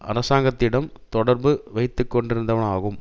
அரசாங்கத்திடம் தொடர்பு வைத்துக்கொண்டிருந்தனவாகும்